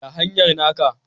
Ya hanyar naka?